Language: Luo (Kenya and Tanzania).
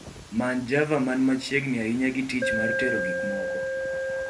Many java man machiegni ahinya gi tich mar tero gikmoko